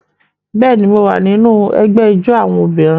Bẹ́ẹ̀ ni, mo wà nínú ẹgbẹ́ ijó àwọn obìnrin